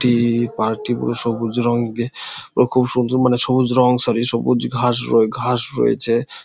টি park -টি পুরো সবুজ রঙ দিয়ে ও খুব সুন্দর মানে সবুজ রঙ সরি সবুজ ঘাস রয়ে ঘাস রয়েছে ।